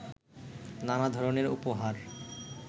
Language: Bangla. নানা ধরনের উপহার